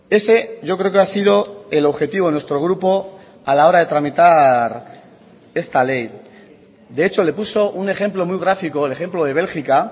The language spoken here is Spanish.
ese yo creo que ha sido el objetivo de nuestro grupo a la hora de tramitar esta ley de hecho le puso un ejemplo muy gráfico el ejemplo de bélgica